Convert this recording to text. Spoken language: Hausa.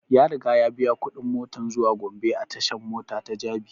Ya riga ya biya kuɗin motan zuwa gombe a tashan mota ta jabi